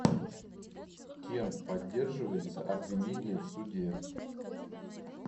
кем поддерживается обвинение в суде